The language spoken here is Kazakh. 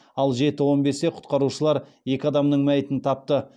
ал жеті он бесте құтқарушылар екі адамның мәйітін тапты